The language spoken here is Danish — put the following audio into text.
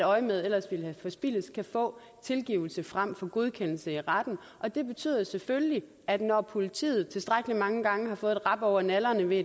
øjemedet ellers forspildes kan få tilgivelse frem for godkendelse i retten og det betyder selvfølgelig at når politiet tilstrækkelig mange gange har fået et rap over nallerne ved